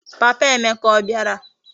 Papa Emeka obiara?